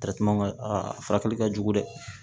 a furakɛli ka jugu dɛ